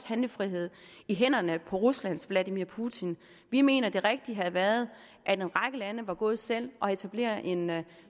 handlefrihed i hænderne på ruslands vladimir putin vi mener at det rigtige havde været at en række lande var gået selv og havde etableret en